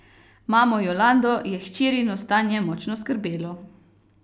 Mamo Jolando je hčerino stanje močno skrbelo.